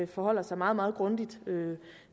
forholder sig meget meget grundigt